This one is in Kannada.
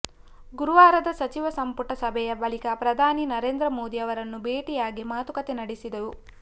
ಗುರುವಾರದ ಸಚಿವ ಸಂಪುಟ ಸಭೆಯ ಬಳಿಕ ಪ್ರಧಾನಿ ನರೇಂದ್ರ ಮೋದಿ ಅವರನ್ನು ಭೇಟಿಯಾಗಿ ಮಾತುಕತೆ ನಡೆಸಿದೆವು